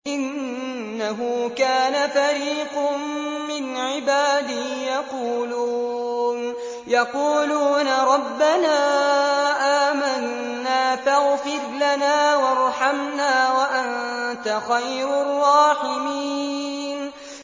إِنَّهُ كَانَ فَرِيقٌ مِّنْ عِبَادِي يَقُولُونَ رَبَّنَا آمَنَّا فَاغْفِرْ لَنَا وَارْحَمْنَا وَأَنتَ خَيْرُ الرَّاحِمِينَ